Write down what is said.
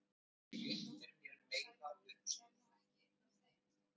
En hann Jón í Sæbóli er nú ekki einn af þeim.